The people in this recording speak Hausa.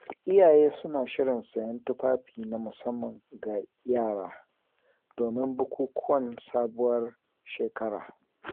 Iyaye suna shirin sayen tufafi na musamman ga yara, domin bukukuwan Sabuwar Shekara.